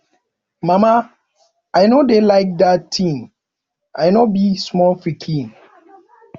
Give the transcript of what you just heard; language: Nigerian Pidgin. mama i no dey like dat thing i no be small pikin